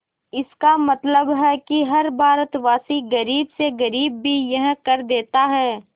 इसका मतलब है कि हर भारतवासी गरीब से गरीब भी यह कर देता है